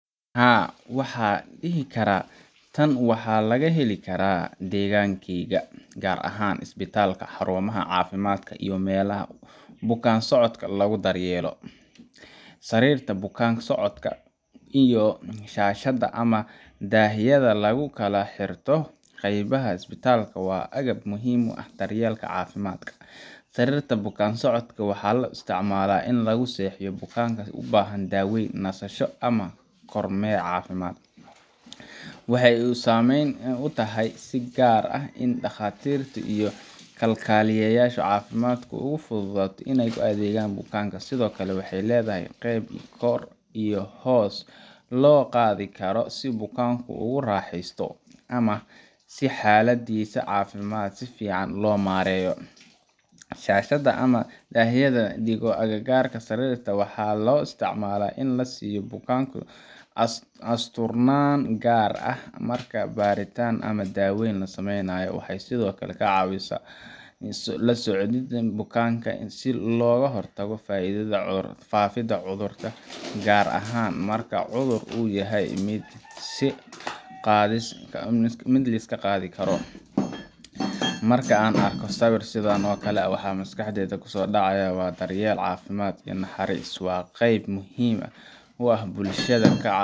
Haa, waxaan dhihi karaa tan waa wax laga heli karo deegaankeena, gaar ahaan isbitaallada, xarumaha caafimaadka, iyo meelaha bukaan-socodka lagu daryeelo. Sariirta bukaan-socodka iyo shaashadda ama daahyada lagu kala xirto qaybaha isbitaalka waa agab muhiim u ah daryeelka caafimaadka. Sariirta bukaan-socodka waxaa loo isticmaalaa in lagu seexiyo bukaanka u baahan daaweyn, nasasho, ama kormeer caafimaad. Waxay u samaysan tahay si gaar ah oo ay dhakhaatiirta iyo kalkaaliyayaasha caafimaadku ugu fududaato inay u adeegaaan bukaanka. Sidoo kale, waxay leedahay qeyb kor iyo hoos loo qaadi karo si bukaanku ugu raaxeysto, ama si xaaladdiisa caafimaad si fiican loo maareeyo. Shaashadda ama daahyada la dhigo agagaarka sariirta, waxaa loo isticmaalaa in la siiyo bukaanka asturnaanta, gaar ahaan marka baaritaan ama daaweyn la samaynayo. Waxay sidoo kale caawisaa kala soocidda bukaanka si looga hortago faafidda cudurrada, gaar ahaan marka cudur uu yahay mid la is qaadsiin karo. Marka aan arko sawir sidan oo kale ah, waxa maskaxdayda ku soo dhacaya daryeel, caafimaad, iyo naxariis. Waa qeyb muhiim ah oo bulshada ka